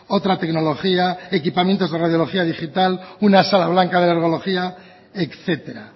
otra tecnología equipamientos de radiología digital una sala blanca de alergología etcétera